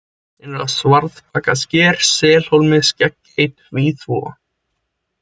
Innra-Svarðbakasker, Selhólmi, Skeggey, Tvíþúfa